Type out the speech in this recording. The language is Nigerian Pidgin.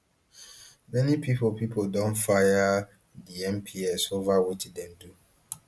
many pipo pipo don fire di mps ova wetin dem do